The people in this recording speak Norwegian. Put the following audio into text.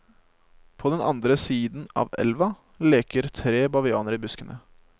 På den andre siden av elva leker tre bavianer i buskene.